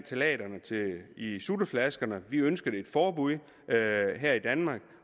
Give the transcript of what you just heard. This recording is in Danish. ftalaterne i sutteflasker vi ønskede et forbud her i danmark